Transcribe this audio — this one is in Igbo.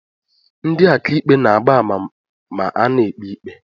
Ndị akaikpe na-agba ama ma ana-ekpe ikpe.